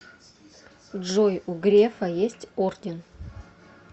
джой у грефа есть орден